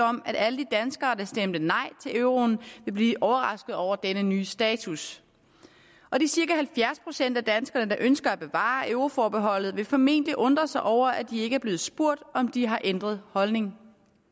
om at alle de danskere der stemte nej til euroen vil blive overrasket over denne nye status og de cirka halvfjerds procent af danskerne der ønsker at bevare euroforbeholdet vil formentlig undre sig over at de ikke er blevet spurgt om de har ændret holdning